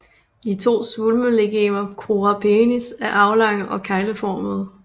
De to svulmelegemer crura penis er aflange og kegleformede